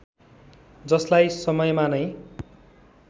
जसलाई समयमा नै